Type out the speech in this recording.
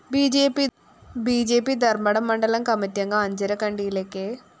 B J P Dharmadam മണ്ഡലം കമ്മറ്റിയംഗം അഞ്ചരക്കണ്ടിയിലെ കെ